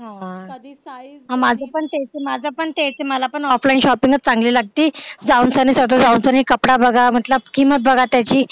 हा माझं पण तेच आहे मला पण offline shopping च चांगली लागती जाऊन स्वतः कपडा बघा मतलब किंमत बघा त्याची